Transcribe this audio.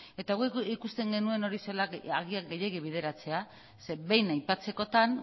eta guk ikusten genuen hori agian gehiegi bideratzea zeren eta behin aipatzekotan